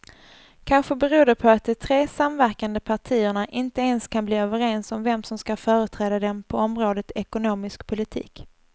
Kanske beror det på att de tre samverkande partierna inte ens kan bli överens om vem som ska företräda dem på området ekonomisk politik.